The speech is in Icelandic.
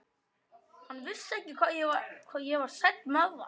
Hann vissi ekki hvað ég var sæll með það.